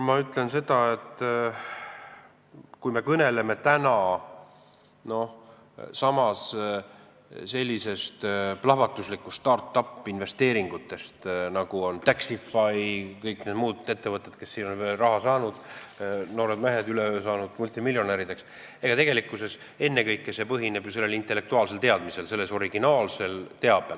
Ma ütlen ka seda, et kui me kõneleme plahvatuslikust start-up-investeeringute suurenemisest, näiteks Taxify ja kõik need muud ettevõtted, mis on veel raha saanud, noored mehed on üleöö multimiljonärideks saanud, siis ennekõike põhineb see kõik ju intellektuaalsel teadmisel, originaalsel teabel.